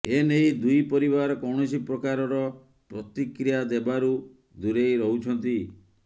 ଏନେଇ ଦୁଇ ପରିବାର କୌଣସି ପ୍ରକାରର ପ୍ରତିକ୍ରିୟା ଦେବାରୁ ଦୂରେଇ ରହୁଛନ୍ତି